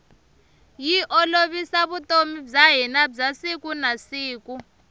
yi olovisa vutomi bya hina bya siku na siku